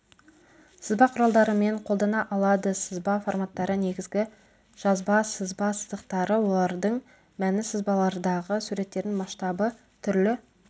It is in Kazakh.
сызба құралдарымен қолдана алады сызба форматтары негізгі жазба сызба сызықтары олардың мәні сызбалардағы суреттердің масштабы түрлі